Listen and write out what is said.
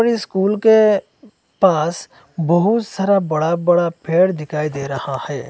School के पास बहुत सारा बड़ा बड़ा पेड़ दिखाई दे रहा है।